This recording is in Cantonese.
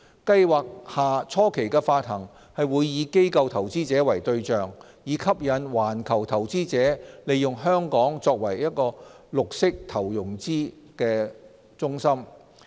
計劃下初期的發行會以機構投資者為對象，以吸引環球投資者利用香港作為綠色投融資的中心。